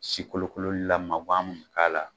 Si kolokololila magan mun bi k'a la